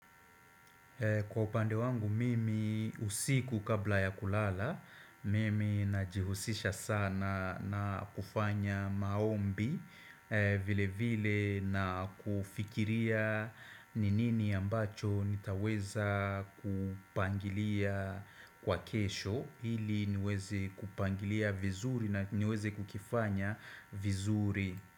Kwa upande wangu mimi usiku kabla ya kulala, mimi najihusisha sana na kufanya maombi vile vile na kufikiria ni nini ambacho nitaweza kupangilia kwa kesho, hili niweze kupangilia vizuri na niweze kukifanya vizuri.